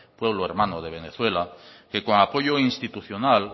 pueblo hermano de venezuela que con apoyo institucional